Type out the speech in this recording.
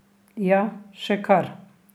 Ja, še kar.